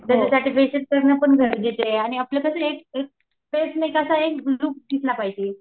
त्याच्यासाठी फेशिअल करणं गरजेचं आहे आणि आपल्यासाठी एक एक कसं आहे दिसला पाहिजे.